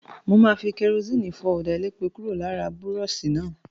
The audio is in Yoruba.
Mo máa fi kẹrosíìnì fọ ọ̀dà elépo kúrò lára búrọ́ọ̀ṣì náà.